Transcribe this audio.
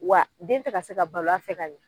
Wa den te ka se ka balo a fɛ ka ɲɛ